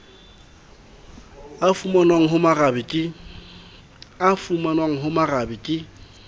a fumanwang ho bomarabe ke